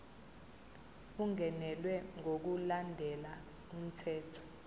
ungenelwe ngokulandela umthetho